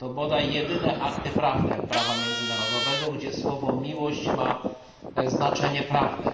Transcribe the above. To bodaj jedyne akty prawne prawa międzynarodowego, gdzie słowo miłość ma znaczenie prawne.